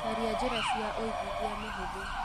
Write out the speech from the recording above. Caria njĩra cia uigithia mũhũthũ.